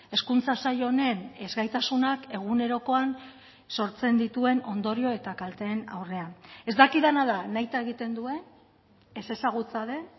hezkuntza sail honen ezgaitasunak egunerokoan sortzen dituen ondorio eta kalteen aurrean ez dakidana da nahita egiten duen ez ezagutza den